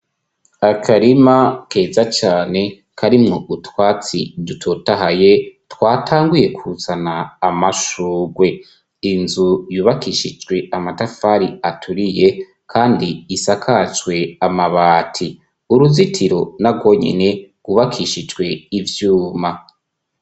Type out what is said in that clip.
Akarima keza cane karimwo utwatsi dutotahaye, twatanguye kuzana amashurwe. Inzu yubakishijwe amatafari aturiye kandi isakajwe amabati. Uruzitiro narwo nyene rwubakishijwe ivyuma.